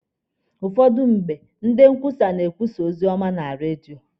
Ụfọdụ mgbe, ndị nkwusa na-ekwusa ozi ọma na redio.